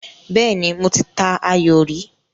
Bẹ́ẹ́nì, mo ta ayò rí.